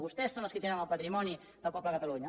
vostès son els qui tenen el patrimoni del poble de catalunya